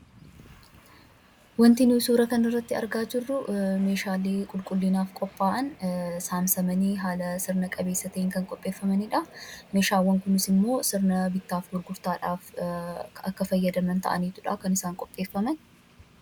Wanti nu suuraa kanarratti argaa jirru meeshaalee qulqullinaaf qophaa'an saamsamanii haala sirna qabeessa ta'een kan qopheeffamanii dha. Meeshaawwan kunis immoo sirna bittaa fi gurgurtaadhaaf akka fayyadaman ta'aniitu dha kan isaan qopheeffaman.